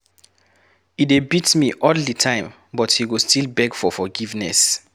E dey beat me all the time but he go still beg for forgiveness.